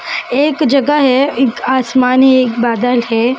एक जगह है एक आसमानी एक बादल है।